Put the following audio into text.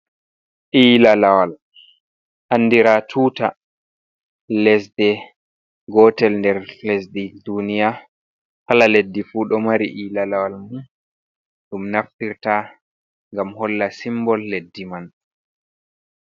Ila lawal andira ɗum tuta lesdi gotel nder lesɗe duniya. Kala leddi fu ɗo mari ila lawal mum ɗum naftirta gam holla simbol leddi man.